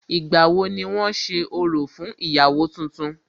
Ìgbà wo ni wón ṣe orò fún ìyàwó tuntun?